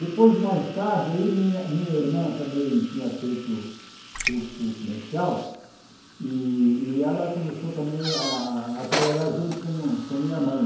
Depois, mais tarde, aí minha minha irmã também tinha feito curso comercial e e ela começou também a a trabalhar junto com com minha mãe.